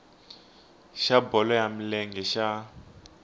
xa bolo ya milenge xa